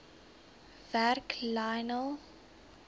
werk lionel